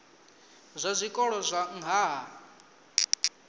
zwa zwikolo zwa nha ha